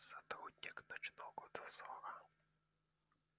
сотрудник ночного дозора